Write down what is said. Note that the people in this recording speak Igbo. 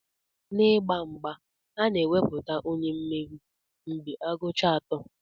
N'ịgba mgba, a na-ekwupụta onye mmeri mgbe a gụchara atọ.